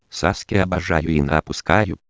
саске обожаю и напуск